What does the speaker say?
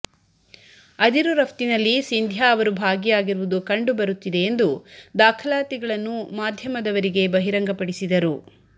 ಅದಿರು ರಫ್ತಿನಲ್ಲಿ ಸಿಂಧ್ಯಾ ಅವರು ಭಾಗಿಯಾಗಿರುವುದು ಕಂಡುಬರುತ್ತಿದೆ ಎಂದು ದಾಖಲಾತಿಗಳನ್ನು ಮಾಧ್ಯಮದವರಿಗೆ ಬಹಿರಂಗಪಡಿಸಿದರು